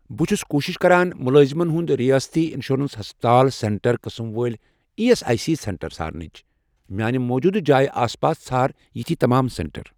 بہٕ چھُس کوٗشِش کران مُلٲزِمن ہُنٛد رِیٲستی اِنشورَنس ہسپَتال سینٹر قٕسم وٲلۍ E S I C centre ژھارنٕچ، میانہِ موٗجوٗدٕ جایہِ آس پاس ژھار یِتھۍ تمام سینٹر۔